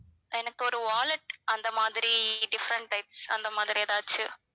எனக்கு ஒரு wallet அந்த மாதிரி different types அந்த மாதிரி ஏதாச்சு